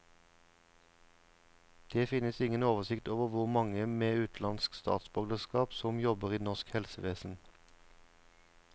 Det finnes ingen oversikt over hvor mange med utenlandsk statsborgerskap som jobber i norsk helsevesen.